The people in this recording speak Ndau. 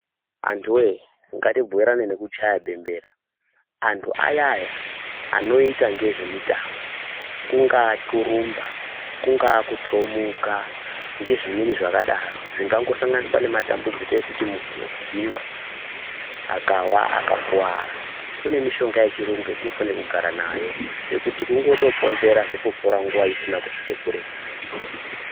Antuwee, ngatibhuirane nekuchaya bembera. Antu ayaya anoita ngezve mitambo ,kungaa kurumba , kungaa kuthomuka, ngezvimweni zvakadaro zvingangosanganiswa nematambudziko ekuti muntu unokhugunywa akawa akakuwara. Kune mushonga yechirungu yatinofanira kugara nayo, yekuti kungotoponzera zvotopora nguwa isina kusvika kuretu.